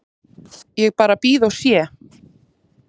Ég bara bíð og sé.